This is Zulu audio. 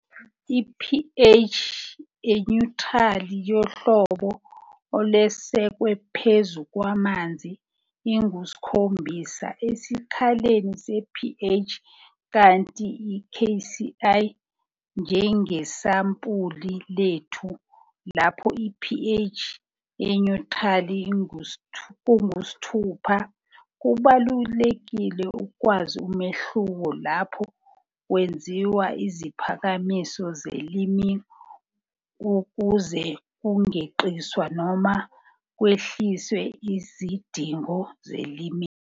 I-pH enyuthrali yohlolo olwesekwe phezu kwamanzi, ingu-7 esikaleni se-pH kanti iKCl, njengesampuli lethu lapho ipH enyuthrali kungu-6. Kubalulekile ukwazi umehluko lapho kwenziwa iziphakamiso zeliming ukuze kungeqiswa noma kwehliswe izidingo zeliming.